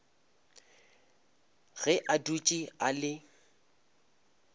ge a dutše a le